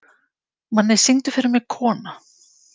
Manni, syngdu fyrir mig „Kona“.